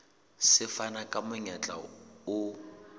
se fana ka monyetla o